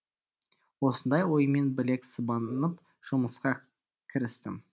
осындай оймен білек сыбанып жұмысқа кірістім